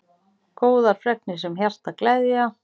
Góðar fregnir sem hjartað gleðja.